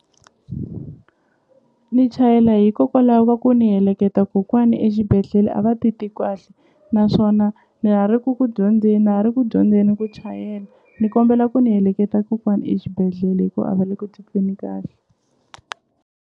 Ni chayela hikokwalaho va ku ni heleketa kokwani exibedhlele a va naswona ni ha ri ku ku dyondzeni na ha ri ku dyondzeni ku chayela ni kombela ku ni heleketa kokwani exibedhlele hi ku a va le ku tweni kahle.